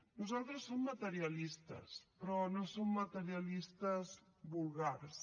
nosaltres som materialistes però no som materialistes vulgars